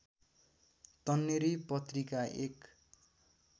तन्नेरी पत्रिका एक